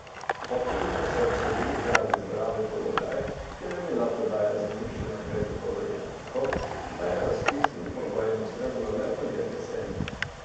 Popoviča so obsodili zaradi zlorabe položaja, ker je bila prodaja zemljišč vnaprej dogovorjena tako, da je razpisnim pogojem ustrezalo le podjetje Serming.